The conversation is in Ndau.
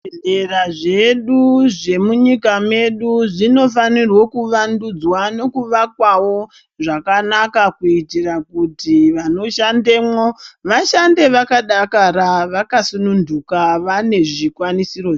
Zvi bhedhlera zvedu zvemu nyika medu zvino fanirwe ku vandudzwa neku vakwawo zvakanaka kuitira kuti vano shandemo vashande vaka dakara vaka sununduka vane zvikwanisiro.